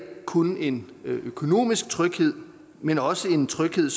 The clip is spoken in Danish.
kun en økonomisk tryghed men også en tryghed